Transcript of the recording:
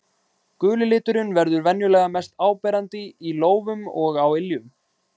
Guli liturinn verður venjulega mest áberandi í lófum og á iljum.